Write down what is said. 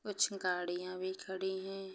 कुछ गाड़ियाँ भी खड़ी है।